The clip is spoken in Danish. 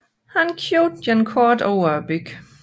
Han købte et kort over byen